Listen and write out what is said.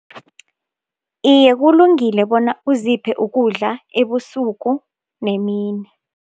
Iye, kulungile bona uziphe ukudla ebusuku nemini.